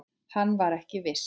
Hann var ekki viss.